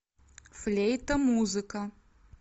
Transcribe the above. флейта музыка